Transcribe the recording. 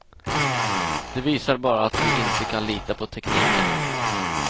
Det visar bara att vi inte kan lita på tekniken.